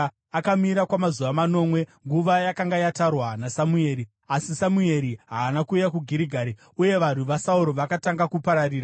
Akamira kwamazuva manomwe, nguva yakanga yatarwa naSamueri; asi Samueri haana kuuya kuGirigari, uye varwi vaSauro vakatanga kupararira.